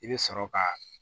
I bɛ sɔrɔ ka